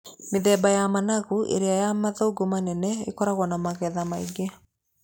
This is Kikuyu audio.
Mĩthemba ya managu ĩrĩa ya mathangũ manene ĩkoragwo na magetha maingĩ.